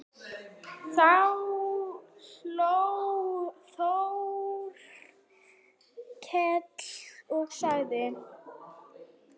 Þá hló Þórkell og sagði